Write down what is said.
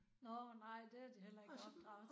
Nåh nej det de heller ikke opdraget til